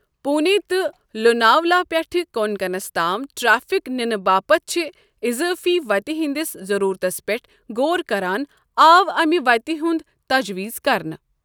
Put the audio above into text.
پوٗنے تہٕ لوناولا پٮ۪ٹھٕ کونکنَس تام ٹریفک نِنہٕ باپتھ چھِ اضٲفی وتہِ ہٕنٛدِس ضروٗرتس پٮ۪ٹھ غور کران آو امہِ وتہِ ہنٛد تجویز كرنہٕ۔